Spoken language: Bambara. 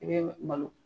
I bɛ malo